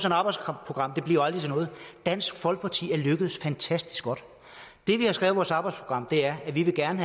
arbejdsprogram bliver aldrig til noget dansk folkeparti er lykkedes fantastisk godt det vi har skrevet i vores arbejdsprogram er at vi gerne